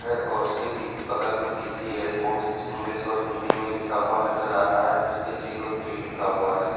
और उसके पीछ बगल में सी_सी एयरपोर्ट इंग्लिश और हिंदी में लिखा हुआ नजर आ रहा है जिसपे जीरो थ्री लिखा हुआ है।